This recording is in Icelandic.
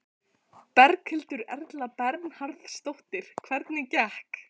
Berghildur Erla Bernharðsdóttir: Hvernig gekk?